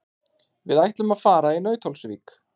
Við ætlum að fara í Nauthólsvík.